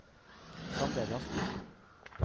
Sander Rasmussen